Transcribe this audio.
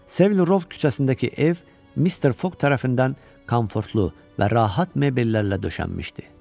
Sevil Rov küçəsindəki ev Mr Foq tərəfindən komfortlu və rahat mebellərlə döşənmişdi.